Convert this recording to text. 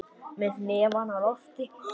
Með hnefann á lofti.